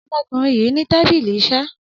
Ọmọkùnrin yìí ní tábìlì iṣẹ́.